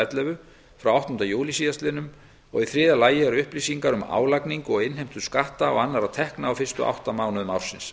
ellefu frá áttunda júlí síðastliðinn og í þriðja lagi eru upplýsingar um álagningu og innheimtu skatta og annarra tekna á fyrstu átta mánuðum ársins